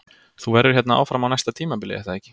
Þú verður hérna áfram á næsta tímabili er það ekki?